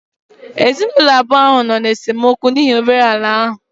Ezinụlọ abụọ ahụ nọ n'esemokwu n'ihi obere ala ahụ